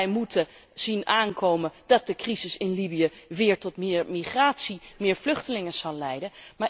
Wij moeten zien aankomen dat de crisis in Libië weer tot meer migratie, meer vluchtelingen zal leiden.